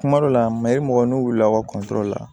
Kuma dɔ la mayri mɔgɔ n'u wulila u ka kuntoro la